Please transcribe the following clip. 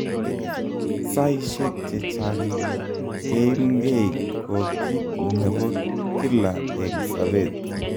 Saishek chechang keimgei ko kiit nebo kila eng sabet